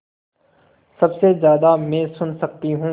सबसे ज़्यादा मैं सुन सकती हूँ